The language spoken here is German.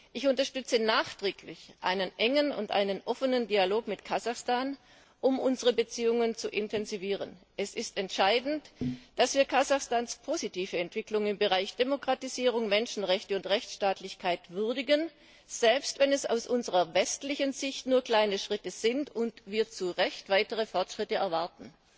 Ich unterstütze nachdrücklich einen engen und offenen Dialog mit Kasachstan, um unsere Beziehungen zu intensivieren. Es ist entscheidend, dass wir Kasachstans positive Entwicklung im Bereich Demokratisierung, Menschenrechte und Rechtsstaatlichkeit würdigen, selbst wenn es aus unserer westlichen Sicht nur kleine Schritte sind und wir zu Recht weitere Fortschritte erwarten.